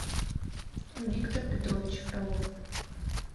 виктор петрович фролов